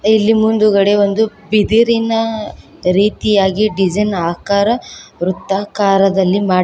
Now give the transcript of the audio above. ಇಲ್ಲಿ ಮುಂದುಗಡೆ ಒಂದು ಬಿದಿರಿನ ರೀತಿಯಾಗಿ ಡಿಸೈನ್ ಆಕಾರ ವೃತ್ತಾಕಾರದಲ್ಲಿ ಮಾಡಿ--